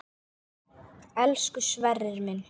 Elsku Sverrir minn.